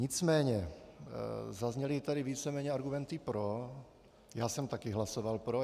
Nicméně zazněly tady víceméně argumenty pro, já jsem také hlasoval pro.